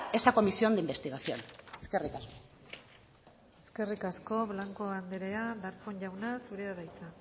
esa comisión de investigación eskerrik asko eskerrik asko blanco andrea darpón jauna zurea da hitza